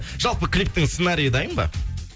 жалпы клиптін сценариі дайын ба